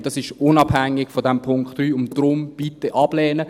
Und das ist unabhängig von diesem Punkt 3, und deshalb bitte ablehnen.